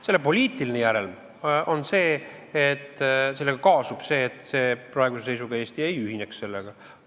Selle poliitiline järelm on see, sellega kaasub see, et praeguse seisuga Eesti sellega ei ühineks.